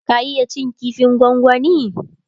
ka iya cin kifin gwangwani?